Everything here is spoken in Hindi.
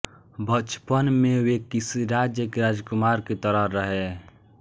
बचपन में वे किसी राज्य के राजकुमार की तरह रहे